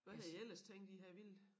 Hvad havde I ellers tænkt I havde villet?